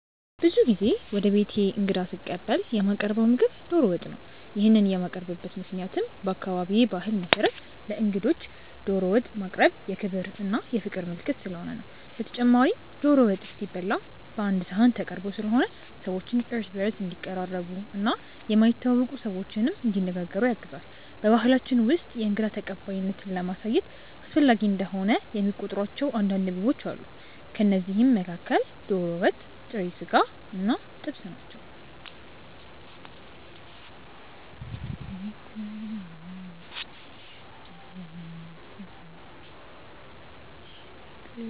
ብዙ ጊዜ ወደ ቤቴ እንግዳ ስቀበል የማቀርው ምግብ ዶሮ ወጥ ነው። ይሄንን የማቀርብበት ምክንያትም በአካባቢዬ ባህል መሰረት ለእንግዶች ዶሮ ወጥ ማቅረብ የክብር እና የፍቅር ምልክት ስለሆነ ነው። በተጨማሪም ዶሮ ወጥ ሲበላ ቀአንድ ሰሀን ተቀርቦ ስለሆነ ሰዎች እርስ በእርስ እንዲቀራረቡ እና የማይተዋወቁ ሰዎችንም እንዲነጋገሩ ያግዛል። በባሕላችን ውስጥ የእንግዳ ተቀባይነትን ለማሳየት አስፈላጊ እንደሆነ የሚቆጥሯቸው አንዳንድ ምግቦች አሉ። ከእነዚህም መካከል ዶሮ ወጥ፣ ጥሬ ስጋ እና ጥብስ ናቸው።